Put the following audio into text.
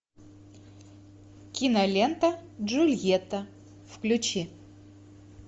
кинолента джульетта включи